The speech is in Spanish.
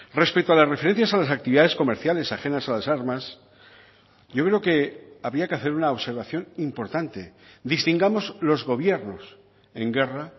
respecto a las referencias a las actividades comerciales ajenas a las armas yo creo que había que hacer una observación importante distingamos los gobiernos en guerra